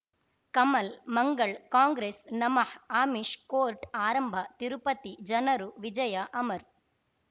ಕಮಲ್ ಮಂಗಳ್ ಕಾಂಗ್ರೆಸ್ ನಮಃ ಅಮಿಷ್ ಕೋರ್ಟ್ ಆರಂಭ ತಿರುಪತಿ ಜನರು ವಿಜಯ ಅಮರ್